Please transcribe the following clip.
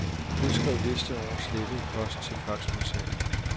Udskriv liste over slettet post til faxmodtager.